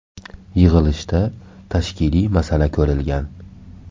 Yig‘ilishda tashkiliy masala ko‘rilgan.